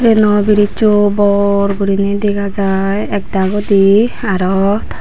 yano bridge cho bor gurine dega jai ek dagoi di aro.